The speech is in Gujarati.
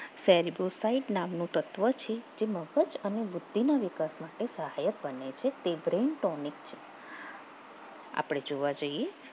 celcosite નામનું તત્વ છે જે મગજ અને બુદ્ધિના વિકાસ માટે સહાય બને છે આપણે જોવા જઈએ